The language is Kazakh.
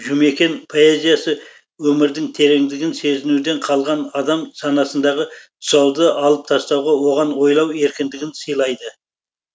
жұмекен поэзиясы өмірдің тереңдігін сезінуден қалған адам санасындағы тұсауды алып тастауға оған ойлау еркіндігін сыйлайды